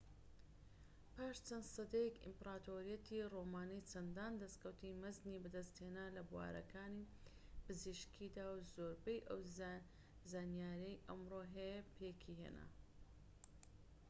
پاش چەند سەدەیەك ئیمپراتۆریەتی ڕۆمانی چەندان دەستکەوتی مەزنی بەدەستهێنا لە بوارەکانی پزیشکیدا و زۆربەی ئەو زانیاریەی ئەمڕۆ هەیە پێکهێنا